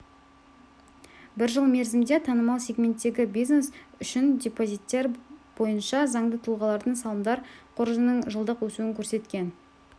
бір жыл мерзімде танымал сегменттегі бизнес үшін депозиттер бойынша заңды тұлғалардың салымдар қоржынының жылдық өсуін көрсеткен